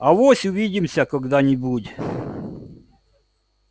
авось увидимся когда-нибудь